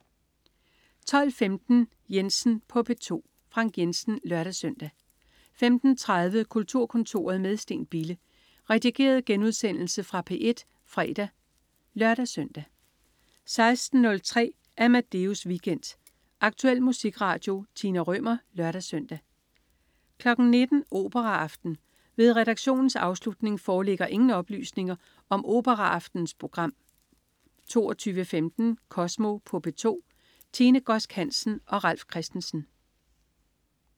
12.15 Jensen på P2. Frank Jensen (lør-søn) 15.30 Kulturkontoret med Steen Bille. Redigeret genudsendelse fra P1 fredag (lør-søn) 16.03 Amadeus Weekend. Aktuel musikradio. Tina Rømer (lør-søn) 19.00 Operaaften. Ved redaktionens afslutning foreligger ingen oplysninger om operaaftenens program 22.15 Kosmo på P2. Tine Godsk Hansen og Ralf Christensen